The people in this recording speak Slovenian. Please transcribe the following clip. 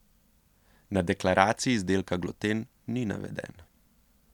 Na deklaraciji izdelka gluten ni naveden.